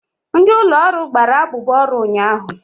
Ndị ụlọ ọrụ gbara abụbọ ọrụ ụnyaahụ.